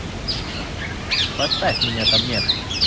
поставь меня там нет